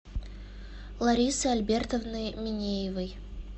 ларисы альбертовны минеевой